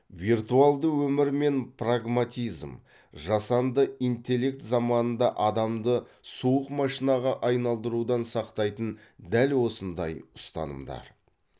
виртуалды өмір мен прагматизм жасанды интеллект заманында адамды суық машинаға айналдырудан сақтайтын дәл осындай ұстанымдар